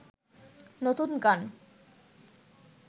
নতুন গান